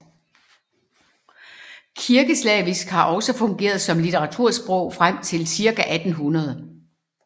Kirkeslavisk har også fungeret som litteratursprog frem til cirka 1800